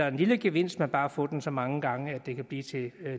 en lille gevinst men bare få den så mange gange at det kan blive til